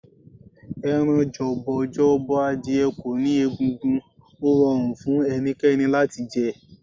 Ẹran jọ̀bọ̀jọ̀bọ̀ adìye kò ní egungun, ó rọrùn fún ẹnikẹ́ni láti jẹ.